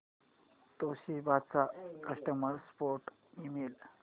Toshiba चा customer support email